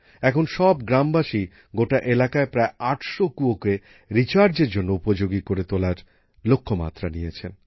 এখন সব গ্রামবাসী গোটা এলাকায় প্রায় আটশো কূয়োকে রিচার্জের জন্য উপযোগী করে তোলার লক্ষ্যমাত্রা নিয়েছেন